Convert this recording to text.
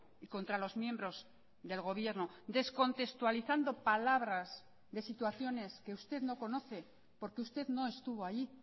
y contra los miembros del gobierno descontextualizando palabras de situaciones que usted no conoce porque usted no estuvo allí